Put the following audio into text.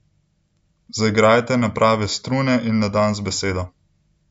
Zaigrajte na prave strune in na dan z besedo!